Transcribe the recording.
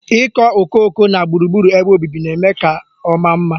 Ịkọ okooko na gburugburu ebe obibi na-eme ka ọ maa mma.